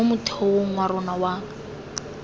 mo motheong wa rona wa